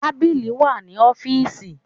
Tábìlì wà ní ọ́fíìsì.